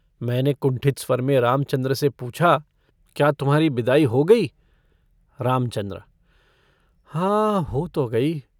मैंने कुण्ठित स्वर में रामचन्द्र से पूछा - क्या तुम्हारी बिदाई हो गई? रामचन्द्र - हाँ, हो तो गई।